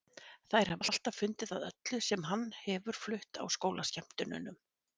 Þær hafa alltaf fundið að öllu sem hann hefur flutt á skólaskemmtunum.